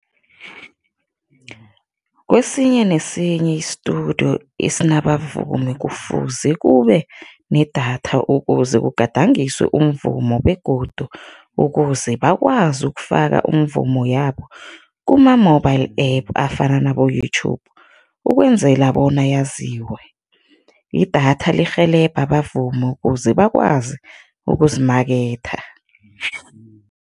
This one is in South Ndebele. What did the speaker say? Kwesinye nesinye i-studio esinabavumi kufuze kube nedatha ukuze kugadangiswe umvumo begodu ukuze bakwazi ukufaka umvumo yabo kuma-mobile app afana naboYouTube ukwenzela bona yaziwe. Idatha lirhelebha abavumi ukuze bakwazi ukuzimaketha.